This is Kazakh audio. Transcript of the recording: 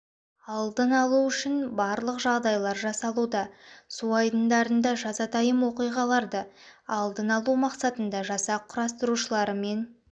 алдын алу үшін барлық жағдайлар жасалуда су айдындарында жазатайым оқиғаларды алдын алу мақсатында жасақ құтқарушыларымен